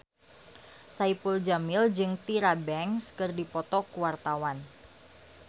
Saipul Jamil jeung Tyra Banks keur dipoto ku wartawan